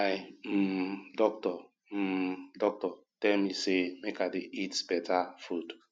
my um doctor um doctor tell me say make i dey eat beta food